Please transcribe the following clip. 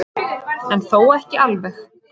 En þó ekki alveg.